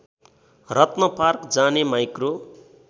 रत्नपार्क जाने माइक्रो